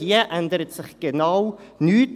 Hier ändert sich genau nichts.